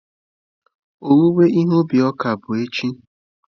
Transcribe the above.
Owuwe ihe ubi ọka bụ echi.